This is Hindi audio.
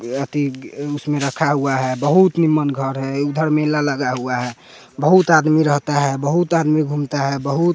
उसमे रखा हुआ है बहुत निमन घर है उधर मेला लगा हुआ है बहुत आदमी रहता है बहुत आदमी घूमता है बहुत--